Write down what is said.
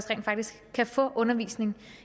rent faktisk kan få undervisning